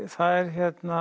það er